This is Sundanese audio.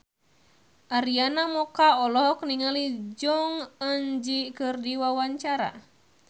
Arina Mocca olohok ningali Jong Eun Ji keur diwawancara